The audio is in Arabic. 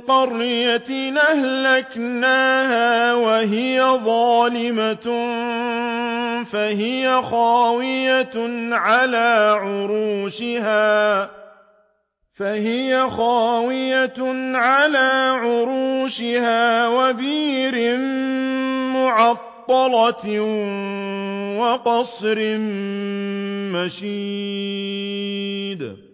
قَرْيَةٍ أَهْلَكْنَاهَا وَهِيَ ظَالِمَةٌ فَهِيَ خَاوِيَةٌ عَلَىٰ عُرُوشِهَا وَبِئْرٍ مُّعَطَّلَةٍ وَقَصْرٍ مَّشِيدٍ